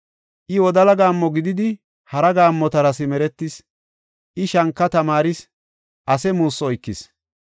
I wodala gaammo gididi, hara gaammota simeretis; I shanka tamaaris; ase muussu oykis.